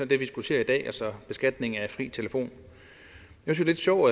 vi diskuterer i dag altså beskatningen af fri telefon jeg synes jo